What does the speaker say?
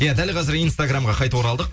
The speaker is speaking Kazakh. ия дәл қәзір инстаграммға қайтып оралдық